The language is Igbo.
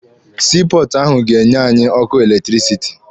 Sii pọọtụ ahụ ga-enye anyị ọkụ eletirisiti.